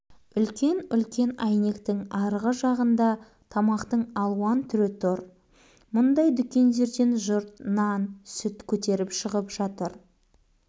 үлкен-үлкен әйнектің арғы жағында тамақтың алуан түрі тұр мұндай дүкендерден жұрт нан сүт көтеріп шығып жатыр